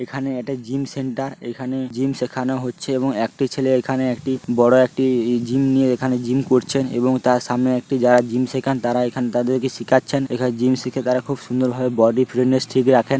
এখানে এটা gym centre এখানে জিম শেখানো হচ্ছে এবং একটি ছেলে এখানে একটি বড়ো একটি -ই জিম নিয়ে এখানে জিম করছেন। এবং তার সামনে একটি যারা জিম শেখান তারা এখানে তাদেরকে শিখাচ্ছেন। যারা জিম শেখে তারা খুব সুন্দর ভাবে বডি ফ্রিনেস ঠিক রাখেন।